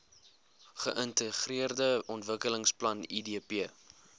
geintegreerde ontwikkelingsplan idp